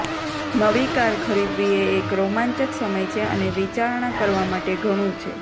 નવી કાર ખરીદવી એ એક રોમાંચક સમય છે અને વિચારણા કરવા માટે ઘણું છે